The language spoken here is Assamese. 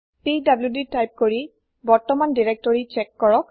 পিডিডি তাইপ কৰি বৰ্তমান দিৰেক্তৰি চ্যেক কৰক